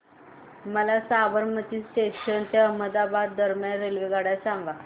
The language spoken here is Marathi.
मला साबरमती जंक्शन ते अहमदाबाद दरम्यान रेल्वेगाड्या सांगा